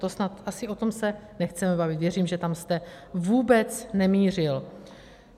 To snad asi o tom se nechceme bavit, věřím, že tam jste vůbec nemířil.